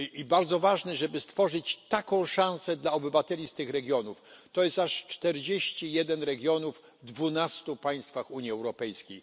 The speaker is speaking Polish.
Bardzo ważne jest, żeby stworzyć taką szansę dla obywateli z tych regionów, to jest aż czterdzieści jeden regionów w dwunastu państwach Unii Europejskiej.